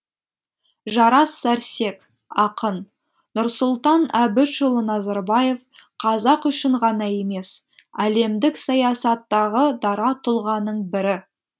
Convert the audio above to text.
жарас сәрсек ақын нұрсұлтан әбішұлы назарбаев қазақ үшін ғана емес әлемдік саясаттағы дара тұлғаның бірі